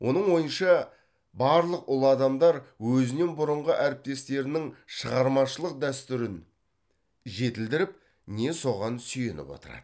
оның ойынша барлық ұлы адамдар өзінен бұрынғы әріптестерінің шығармашылық дәстүрін жетілдіріп не соған сүйеніп отырады